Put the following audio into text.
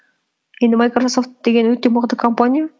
енді майкрософт деген өте мықты компания